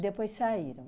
depois saíram.